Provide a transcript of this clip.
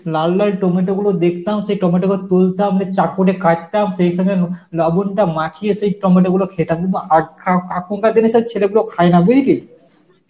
লাল লাল টমেটোগুলো দেখতাম, সেই টমেটো ধর তুলতাম দিয়ে চাকু দিয়ে কাটতাম সেই সময় নো লবণটা মাখিয়ে সেই টমেটোগুলো খেতাম কিন্তু আগ~ খা~ এখনকার দিনে সেই ছেলেগুলো খায় না বুঝলি